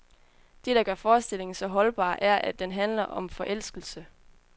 Det, der gør forestillingen så holdbar, er, at den handler om forelskelse.